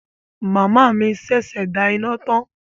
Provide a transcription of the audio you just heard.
Màmá mi sẹsẹ dà iná tàn.